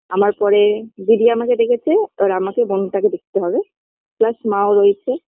আমার পরে দিদি আমাকে দেখেছে এবার আমাকে বোনটাকে দেখতে হবে Plus মা ও রয়েছে